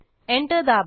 enter दाबा